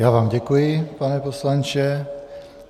Já vám děkuji, pane poslanče.